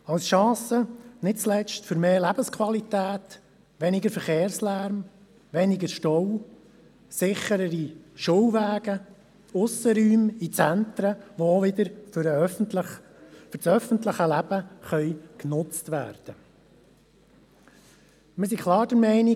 Als Chance nicht zuletzt für mehr Lebensqualität, weniger Verkehrslärm, weniger Stau, sicherere Schulwege sowie Aussenräume in Zentren, die für das öffentliche Leben genutzt werden können.